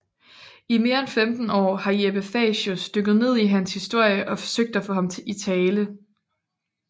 I mere end femten år har Jeppe Facius dykket ned i hans historie og forsøgt at få ham i tale